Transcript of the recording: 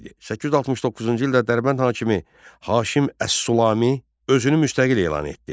869-cu ildə Dərbənd hakimi Haşim Əs-Sulami özünü müstəqil elan etdi.